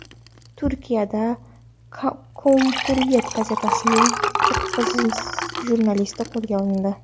Turkiyada Cumhuriyet gazetasining to‘qqiz jurnalisti qo‘lga olindi.